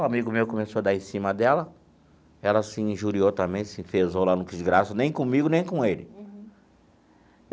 O amigo meu começou a dar em cima dela, ela se injuriou também, se enfezou lá, não quis graça, nem comigo, nem com ele.